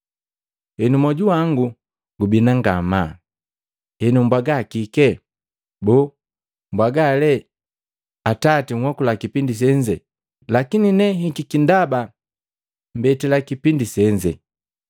“Henu moju wangu gubina ngamaa, henu mbwaga kike? Boo, mbwaga lee, ‘Atati nhokula kipindi senze lakini hikiki ndaba jikipindi senze?’ Lakini ne nhikiki ndaba mbetila kipindi senze.